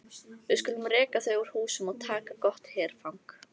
Við skulum reka þau úr húsum og taka gott herfang!